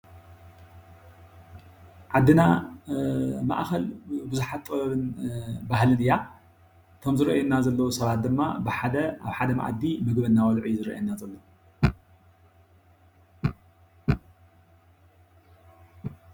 ዓድና ማእከል ብዙሓት ጥበብን ባህልን እያ። እቶም ዝረአዩና ዘለው ሰባት ድማ ብሓደ ኣብ ሓደ መአዲ ምግቢ እናበልዑ እዩዝረኣየና ዘሎ፡፡